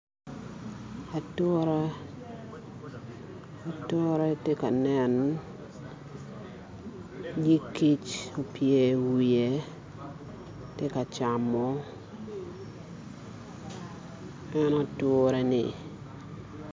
Atura , atura tye ka nen nyig kic opye i wiye tye ka camo en ature-ni